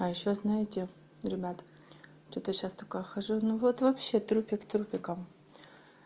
а ещё знаете ребята что-то я сейчас такая хожу ну вот вообще трупик тупиком